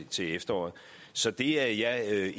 til efteråret så det er